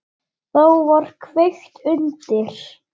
Þá var kveikt undir.